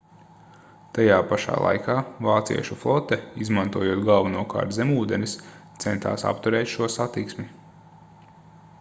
tajā pašā laikā vāciešu flote izmantojot galvenokārt zemūdenes centās apturēt šo satiksmi